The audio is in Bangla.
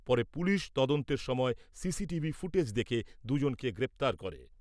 পরে পুলিশ তদন্তের সময় সিসিটিভি ফুটেজ দেখে দু' জনকে গ্রেপ্তার করে।